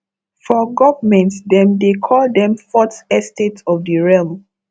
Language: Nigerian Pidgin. for government dem dey call them fourth estate of the realm